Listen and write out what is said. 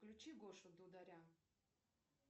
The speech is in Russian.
включи гошу дударя